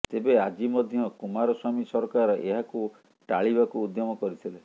ତେବେ ଆଜି ମଧ୍ୟ କୁମାରସ୍ବାମୀ ସରକାର ଏହାକୁ ଟାଳିବାକୁ ଉଦ୍ୟମ କରିଥିଲେ